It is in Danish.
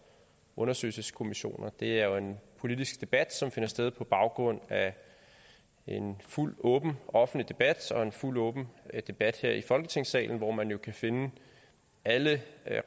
undersøgelseskommissioner det er jo en politisk debat som finder sted på baggrund af en fuldt ud åben og offentlig debat og en fuldt ud åben debat her i folketingssalen hvor man jo kan finde alle